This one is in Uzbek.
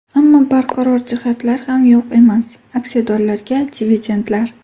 Ammo barqaror jihatlar ham yo‘q emas: aksiyadorlarga dividendlar.